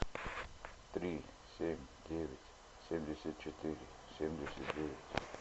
три семь девять семьдесят четыре семьдесят девять